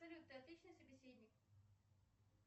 салют ты отличный собеседник